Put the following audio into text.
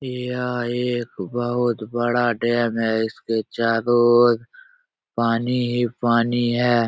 यह एक बहुत बड़ा डैम है। इसके चारो ओर पानी ही पानी है।